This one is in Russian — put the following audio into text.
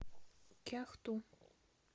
кяхту